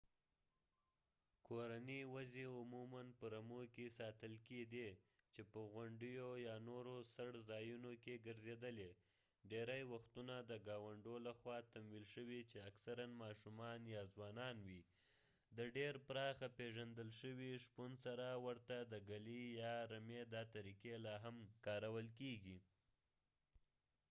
کورني وزې عموما په رمو کې ساتل کیدې چې په غونډیو یا نورو څړ ځایونو کې ګرځیدلې ډیری وختونه د ګاونډو لخوا تمویل شوي چې اکثرا ماشومان یا ځوانان وي د ډیر پراخه پیژندل شوي شپون سره ورته د ګلې يا رمې دا طريقې لاهم کارول کيږي